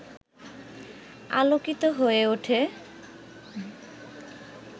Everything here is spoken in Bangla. আলোকিত হয়ে ওঠে